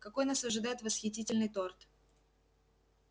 какой нас ожидает восхитительный торт